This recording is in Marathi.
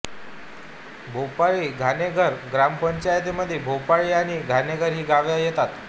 भोपोळी घाणेघर ग्रामपंचायतीमध्ये भोपोळी आणि घाणेघर ही गावे येतात